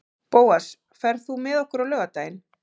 Bóas, ferð þú með okkur á laugardaginn?